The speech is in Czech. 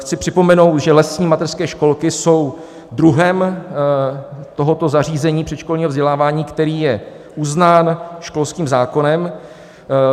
Chci připomenout, že lesní mateřské školky jsou druhem tohoto zařízení předškolního vzdělávání, který je uznán školským zákonem.